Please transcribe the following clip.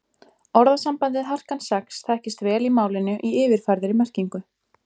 Orðasambandið harkan sex þekkist vel í málinu í yfirfærðri merkingu.